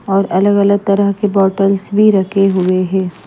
और अलग-अलग तरह के बॉटल्स भी रखे हुए हैं ।